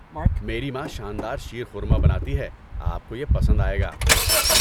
میری ماں شان دار شیرخورما بناتی ہے، آپ کو یہ پسند آئے گا۔